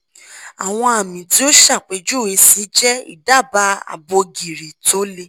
awon ami ti o sapejuwe si je idaba abo giri to le